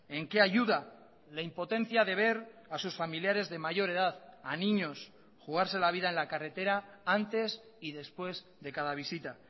en qué ayuda la impotencia de ver a sus familiares de mayor edad a niños jugarse la vida en la carretera antes y después de cada visita